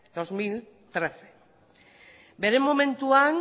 dos mil trece bere momentuan